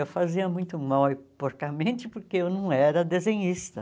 Eu fazia muito mal e porcamente porque eu não era desenhista.